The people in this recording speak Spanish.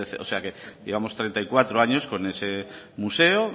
o sea que llevamos treinta y cuatro años con ese museo